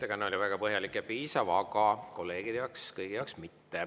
Ettekanne oli väga põhjalik ja piisav, aga mitte kõigi kolleegide jaoks.